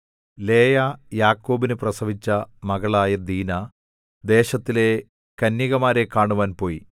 ലേയാ യാക്കോബിനു പ്രസവിച്ച മകളായ ദീനാ ദേശത്തിലെ കന്യകമാരെ കാണുവാൻ പോയി